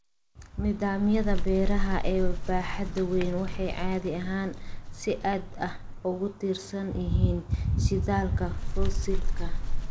Nidaamyada beeraha ee baaxadda weyn waxay caadi ahaan si aad ah ugu tiirsan yihiin shidaalka fosilka.